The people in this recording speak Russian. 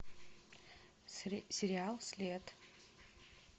сериал след